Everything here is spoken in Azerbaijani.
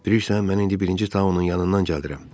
Bilirsən, mən indi birinci Tao-nun yanından gəldirəm.